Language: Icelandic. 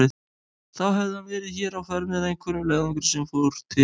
Þá hefði hann verið hér á ferð með einhverjum leiðangri sem líka fór til